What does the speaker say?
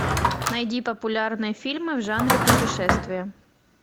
найди популярные фильмы в жанре путешествия